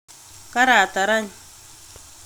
Karatar any